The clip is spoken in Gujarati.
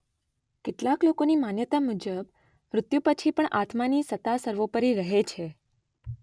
કેટલાક લોકોની માન્યતા મુજબ મૃત્યુ પછી પણ આત્માની સત્તા સર્વોપરી રહે છે